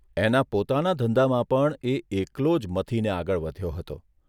એના પોતાના ધંધામાં પણ એ એકલો જ મથીને આગળ વધ્યો હતો.